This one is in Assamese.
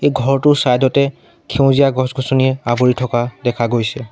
ঘৰটোৰ চাইড তে সেউজীয়া গছ-গছনিয়ে আৱৰি থকা দেখা গৈছে।